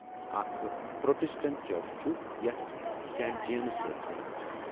اکھ Protestant church چھ یتھ سینٹ جیمز چرچ ونان چھِ ۔